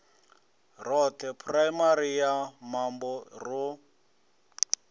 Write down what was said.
roṱhe phuraimari ya mambo ro